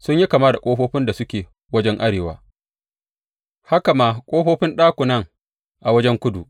Sun yi kama da ƙofofin da suke wajen arewa haka ma ƙofofin ɗakunan a wajen kudu.